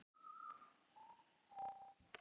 Ekki fara lengra, bað Thomas í huganum.